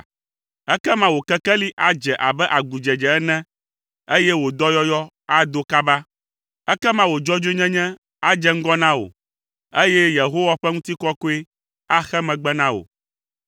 Ekema wò kekeli adze abe agudzedze ene, eye wò dɔyɔyɔ ado kaba. Ekema wò dzɔdzɔenyenye adze ŋgɔ na wò, eye Yehowa ƒe ŋutikɔkɔe axe megbe na wò.